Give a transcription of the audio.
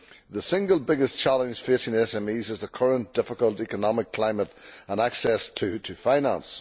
the single biggest challenge facing SMEs is the current difficult economic climate and access to finance.